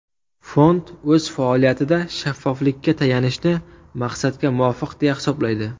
Fond o‘z faoliyatida shaffoflikka tayanishni maqsadga muvofiq deya hisoblaydi.